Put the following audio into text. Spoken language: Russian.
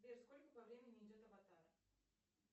сбер сколько по времени идет аватар